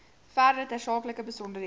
verdere tersaaklike besonderhede